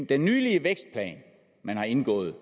den nylige vækstplan man har indgået